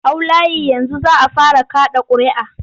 Hau layi yanzu za a fara kaɗa ƙuria'a!